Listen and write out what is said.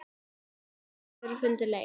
En hann hefur fundið leið.